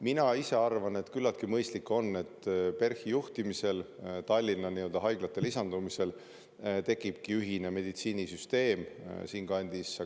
Mina ise arvan, et küllaltki mõistlik on, kui PERH-i juhtimisel Tallinna haiglate lisandumisel tekibki ühine meditsiinisüsteem siinkandis.